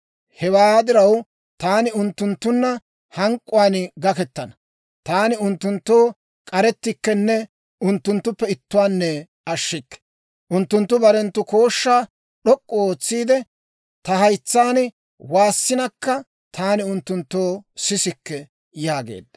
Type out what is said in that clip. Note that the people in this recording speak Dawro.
Hewaa diraw, taani unttunttunna hank'k'uwaan gakkettana. Taani unttunttoo k'arettikkenne unttunttuppe ittuwaanne ashshikke. Unttunttu barenttu kooshshaa d'ok'k'u ootsiide, ta haytsaan waassinakka, taani unttunttoo sisikke» yaageedda.